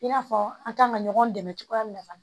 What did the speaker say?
I n'a fɔ an kan ka ɲɔgɔn dɛmɛ cogoya min na fana